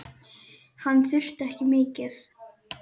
Hann þurfti ekki mikið.